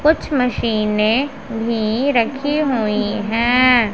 कुछ मशीनें भी रखी हुई हैं।